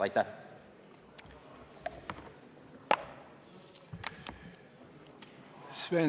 Aitäh!